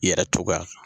I yɛrɛ tɔgɔya